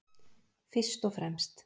Fyrst og fremst.